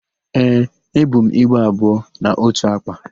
Ee, ebu m igbe abụọ na ótù àkpà.